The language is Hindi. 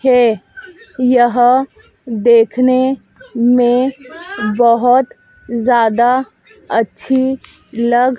के यह देखने में बहोत ज्यादा अच्छी लग--